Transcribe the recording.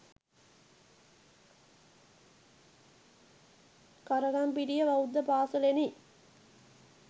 කරගම්පිටිය බෞද්ධ පාසලෙනි.